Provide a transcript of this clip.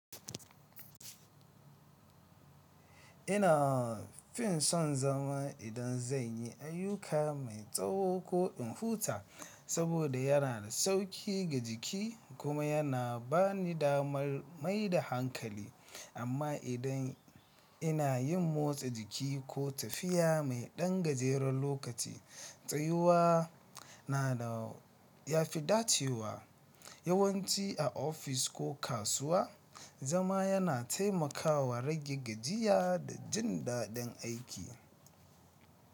Ina fin son zama idan zan yi ayyuka mai tsawo ko in huta saboda yana da sauƙi ga jiki kuma yana ba ni damar mai da hankali. Amma idan ina yin motsa jiki ko tafiya mai ɗan gajeren lokaci, tsayuwa na da ya fi dacewa, yawanci a ofis ko kasuwa, zama yana taimakawa rage gajiya da jin daɗin aiki.